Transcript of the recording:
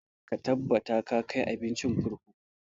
Ka tabbata ka kai abincin kurkuku!